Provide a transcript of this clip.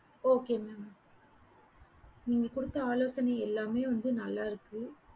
okay mam நீங்க குடுத்த ஆலோசைனை எல்லாமே நல்ல இருக்கு